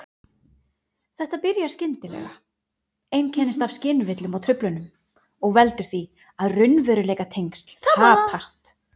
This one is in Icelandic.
Þetta byrjar skyndilega, einkennist af skynvillum og-truflunum og veldur því að raunveruleikatengsl tapast.